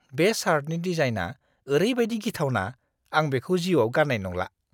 बे शार्टनि डिजाइनआ ओरैबादि गिथावना आं बेखौ जीउआव गान्नाय नंला।